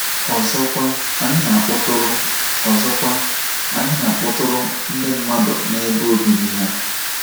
Ọzọkwa, anyị na-akpọtụrụ Ọzọkwa, anyị na-akpọtụrụ ndị mmadụ n’ebe obibi ha.